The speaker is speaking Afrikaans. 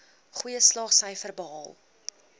goeie slaagsyfers behaal